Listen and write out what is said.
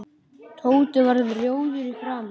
Tóti varð rjóður í framan.